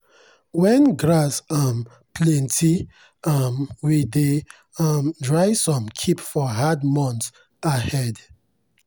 when grass um plenty um we dey um dry some keep for hard months ahead.